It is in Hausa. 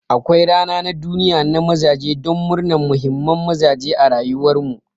Akwai rana na duniya na mazaje don murnan muhimman mazaje a rayuwar mu.